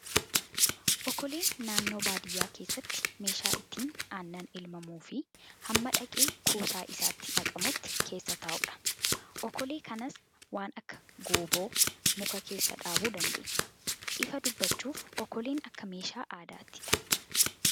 Okoleen naannoo baadiyyaa keessatti meeshaa itti aannan elmamuu fi hamma dhaqee kuusaa isaatti naqamutti keessa taa'udha. Okolee kanas waan akka gooboo muka keessa dhaabuu dandeenya. Ifa dubbachuuf okoleen akka meeshaa aadaattidha.